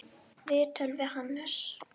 Viðtöl við Hannes